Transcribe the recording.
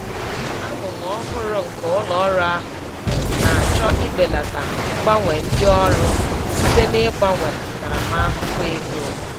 Amụma ọhụrụ nke ụlọ ọrụ ahụ na-achọ ibelata ngbanwe ndị ọrụ site n'ịgbanwe ntaramahụhụ ego.